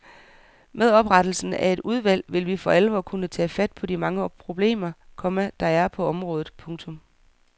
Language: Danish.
Med oprettelsen af et udvalg vil vi for alvor kunne tage fat på de mange problemer, komma der er på området. punktum